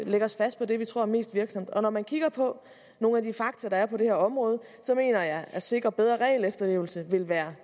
lægge os fast på det vi tror er mest virksomt og når man kigger på nogle af de fakta der er på det her område så mener jeg at at sikre bedre regelefterlevelse vil være